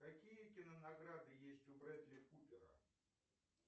какие кинонаграды есть у брэдли купера